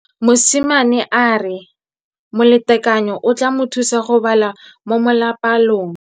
Mosimane a re molatekanyô o tla mo thusa go bala mo molapalong.